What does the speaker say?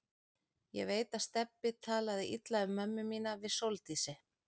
Ég veit að Stebbi talaði illa um mömmu mína við Sóldísi.